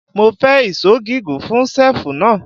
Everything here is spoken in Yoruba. Mo fẹ́ ìṣó gígùn fún ṣẹ́ẹ̀fù náà.